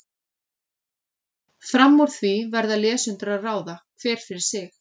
Fram úr því verða lesendur að ráða, hver fyrir sig.